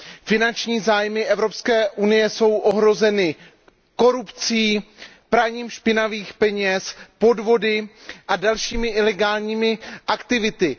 Finanční zájmy Evropské unie jsou ohroženy korupcí, praním špinavých peněz, podvody a dalšími ilegálními aktivitami.